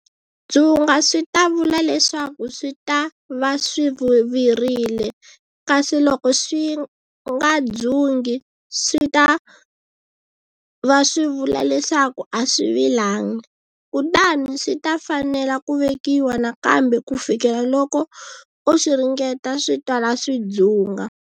Dzunga swi ta vula leswaku swi ta va swi virile, kasi loko swi nga dzungi, swi ta va swi vula leswaku a swi vilangi, kutani swi ta fanela ku vekiwa nakambe ku fikela loko u swi ringeta swi twala swi dzunga.